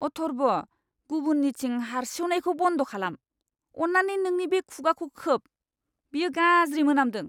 अथर्ब! गुबुननिथिं हार्सिउनायखौ बन्द खालाम। अन्नानै नोंनि खुगाखौ खोब। बेयो गाज्रि मोनामदों!